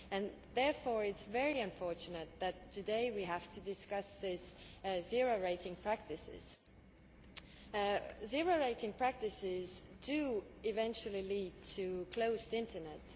It is therefore very unfortunate that today we have to discuss these zero rating practices. Zero rating practices do eventually lead to a closed internet.